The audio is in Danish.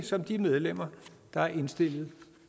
som de medlemmer der er indstillet